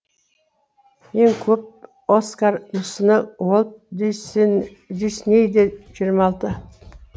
ең көп оскар мүсіні уолт диснейде жиырма алты